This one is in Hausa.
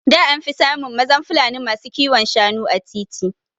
Da anfi samun mazan Fulani masu kiwon Shanu a titi